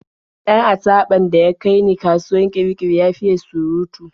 Dan achaɓan da ya kai ni kasuwar Kirikiri ya fiye surutu.